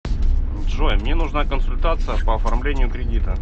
джой мне нужна консультация по оформлению кредита